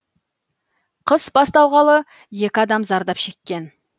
қыс басталғалы екі адам зардап шеккен